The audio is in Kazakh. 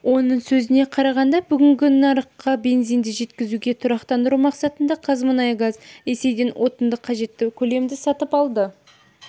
оның сөзіне қарағанда бүгінде нарыққа бензинді жеткізуді тұрақтандыру мақсатында қазмұнайгаз ресейден отынды қажетті көлемді сатып алды